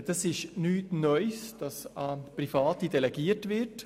Es ist nichts Neues, dass an Private delegiert wird.